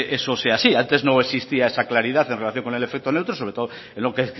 eso sea así antes no existía esa claridad en relación con el efecto neutro sobre todo en lo que